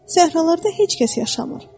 Səhralarda heç kəs yaşamır.